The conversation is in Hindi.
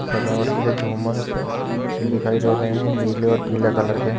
सजावट के लिए झूमर है दिखाई दे रहे हैं नीले और पीला कलर के।